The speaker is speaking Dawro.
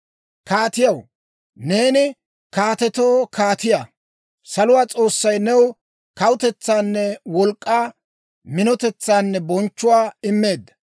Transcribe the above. Kaatiyaw, neeni kaatetoo kaatiyaa. Saluwaa S'oossay new kawutetsaanne wolk'k'aa, minotetsaanne bonchchuwaa immeedda.